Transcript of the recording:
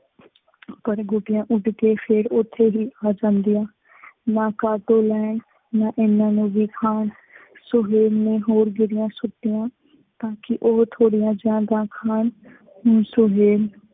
ਪਰ ਗੋਟੀਆਂ ਉਡ ਕੇ ਫੇਰ ਉੱਥੇ ਹੀ ਫੱਸ ਜਾਂਦੀਆਂ। ਨਾ ਕਾਟੋਂ ਲੈਣ, ਨਾ ਇਹਨਾ ਨੂੰ ਦਿਖਾਉਣ, ਸੁਹੇਲ ਨੇ ਹੋਰ ਗਿਰੀਆਂ ਸੁਟੀਆਂ ਤਾਂ ਕਿ ਉਹ ਥੋੜੀਆ ਜਿਹੀਆ ਜਾਂ ਖਾਣ। ਹੁਣ ਸੁਹੇਲ